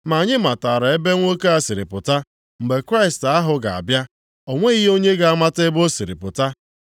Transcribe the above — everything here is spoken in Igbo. Ma anyị matara ebe nwoke a siri pụta, mgbe Kraịst ahụ ga-abịa, o nweghị onye ga-amata ebe o siri pụta.”